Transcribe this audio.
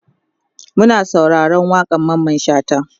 Muna sauraron waƙan Mamman shata